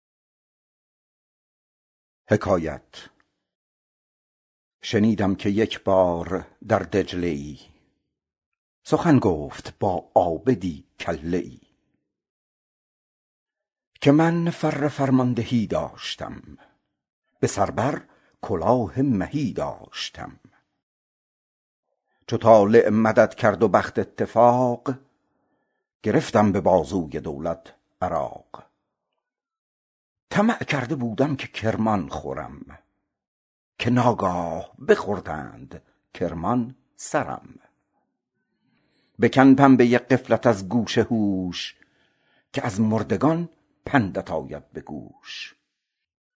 شنیدم که یک بار در حله ای سخن گفت با عابدی کله ای که من فر فرماندهی داشتم به سر بر کلاه مهی داشتم سپهرم مدد کرد و نصرت وفاق گرفتم به بازوی دولت عراق طمع کرده بودم که کرمان خورم که ناگه بخوردند کرمان سرم بکن پنبه غفلت از گوش هوش که از مردگان پندت آید به گوش